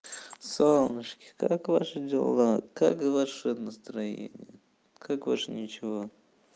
солнышки как ваши дела как ваше настроение как ваше ничего